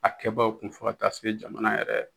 A kɛbaaw kun fɔ taa se jamana yɛrɛ